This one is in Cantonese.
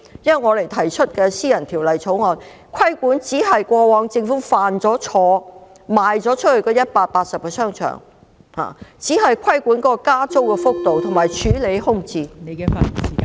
我們提出的私人條例草案，亦只是糾正政府過往出售180個商場所犯的錯誤，以及規管加租幅度和處理空置問題而已。